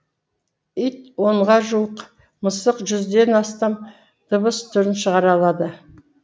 ит онға жуық мысық жүзден астам дыбыс түрін шығара алады